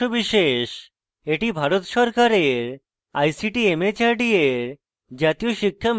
এটি ভারত সরকারের ict mhrd এর জাতীয় সাক্ষরতা mission দ্বারা সমর্থিত